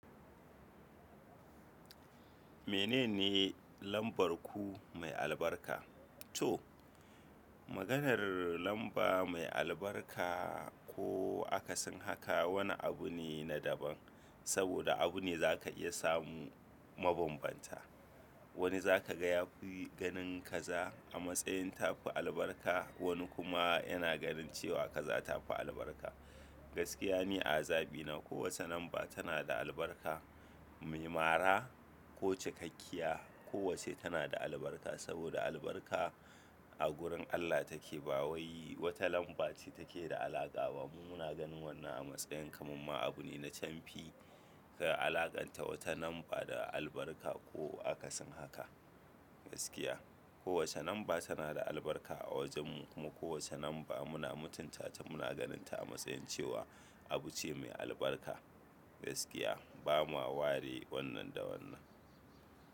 Mene ne lambar ku mai albarka? To, maganar lamba mai albarka ko aka sin haka wani abu ne na daban. Saboda abu ne za ka iya samu mabambanta. Wani za ka ga ya fi ganin kaza a matsayin tafi albarka wani kuma yana ganin cewa kaza tafi albarka. Gaskiya ne azabi na. Kowace lamba tana da albarka, mai mara ko cikakkiya. Kowacce tana da albarka saboda albarka a gurin Allah take. Bawayi wata lamba ce take da alaƙa ba. Mu na ganin wannan a matsayin kaman ma abu ne na camfi ka alaƙanta wata lamba da albarka ko aka sin haka. Gaskiya. Kowace number tana da albarka a wajenmu. Kuma kowace lamba muna mutunta ta. Muna ganin ta a matsayin cewa abu ce mai albarka. Gaskiya bamu ware wannan da wannan.